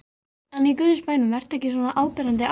En í Guðs bænum vertu ekki svona áberandi ástfanginn.